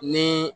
Ni